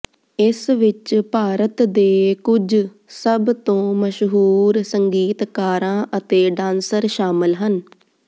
ਇਸ ਵਿਚ ਭਾਰਤ ਦੇ ਕੁਝ ਸਭ ਤੋਂ ਮਸ਼ਹੂਰ ਸੰਗੀਤਕਾਰਾਂ ਅਤੇ ਡਾਂਸਰ ਸ਼ਾਮਲ ਹਨ